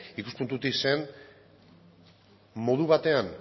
ikuspuntutik zen modu batean